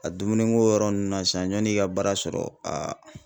A dumuniko yɔrɔ nunnu na sisan, ɲɔn'i k'i ka baara sɔrɔ